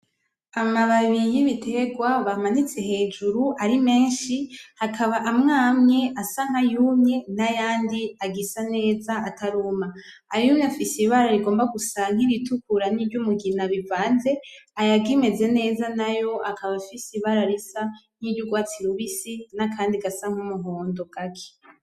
Amababi y'ibiterwa bamanitse hejuru ari menshi, hakaba amwamwe asa nkayumye nayandi agisa neza ataruma. Ayumye afise ibara rigomba gusa kiritukura niryumugina bivanze. Ayakimeze neza nayo akaba afise ibara risa nkiyurwatsi rubisi nakandi gasa nk'umuhondo gake.